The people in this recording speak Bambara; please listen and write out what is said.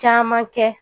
Caman kɛ